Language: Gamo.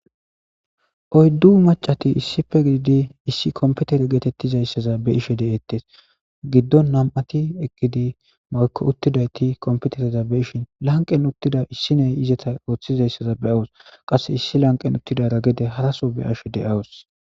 Oydu maccati issipe gididi issi kompitere geetetizaysaza be'ishe de'etees. Giddon nam'ati eqqidi woyko uttidayti kompitereza be'ishin lanqen uttida issi naya izeti oorhizaysa be'awuus. Qasse issi lanqen uttidara gede haraso be'ashe de'awuus.